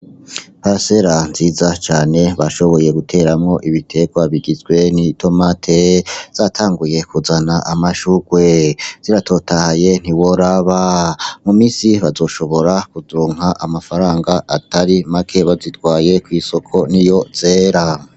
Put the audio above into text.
Iparasera nziza cane bashoboye guteramwo ibiterwa bigizwe ni tomate zatanguye kuzana amashurwe ziratotahaye ntiworaba mu misi bazoshobora kuzunka amafaranga atari make bazitwaye kw'isoko ni yo zera.